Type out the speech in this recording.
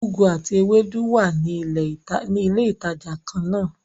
Ugwu àti Ewédú wá ní ilé ìtàjà kànnà.